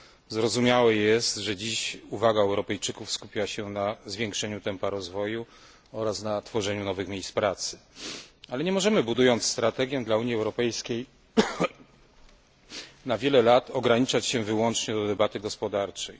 Zrozumiałe jest, że dziś uwaga Europejczyków skupia się na zwiększeniu tempa rozwoju oraz na tworzeniu nowych miejsc pracy, ale nie możemy, budując strategię dla Unii Europejskiej, na wiele lat ograniczać się wyłącznie do debaty gospodarczej.